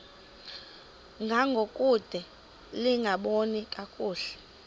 ngangokude lingaboni kakuhle